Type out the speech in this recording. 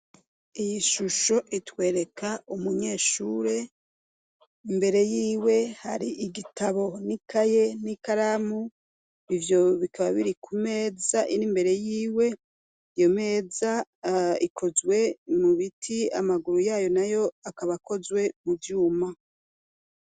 Iyi shusho itwereka umunyeshure imbere yiwe hari igitabo n'ikaye n'i karamu ivyo bikaba biri ku meza iriimbere yiwe iyo meza ikozwe mubiti amaguru yayo na yo akabakozwe mu vyuma.